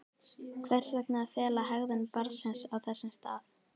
Hvers vegna að fela hegðun barnsins á þessum stað?